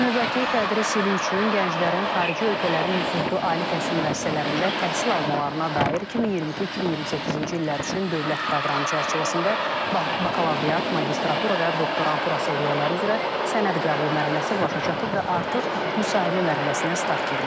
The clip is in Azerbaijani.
Növbəti tədris ili üçün gənclərin xarici ölkələrin nüfuzlu ali təhsil müəssisələrində təhsil almalarına dair 2022-2028-ci illər üçün dövlət proqramı çərçivəsində bakalavriat, magistratura və doktorantura səviyyələri üzrə sənəd qəbulu mərhələsi başa çatıb və artıq müsahibə mərhələsinə start verilib.